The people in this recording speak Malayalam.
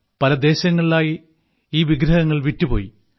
പല ദേശങ്ങളിലായി ഈ വിഗ്രഹങ്ങൾ വിറ്റുപോയി